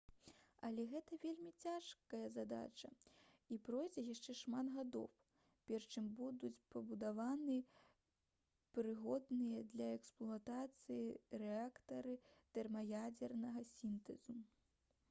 але гэта вельмі цяжкая задача і пройдзе яшчэ шмат гадоў перш чым будуць пабудаваны прыгодныя для эксплуатацыі рэактары тэрмаядзернага сінтэзу